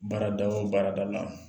Baarada o baarada la